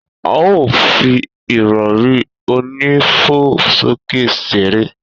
A o fi ìrọrí onífo sókè ṣeré